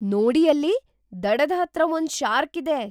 ನೋಡಿ ಅಲ್ಲಿ! ದಡದ್ ಹತ್ರ ಒಂದ್ ಶಾರ್ಕ್ ಇದೆ!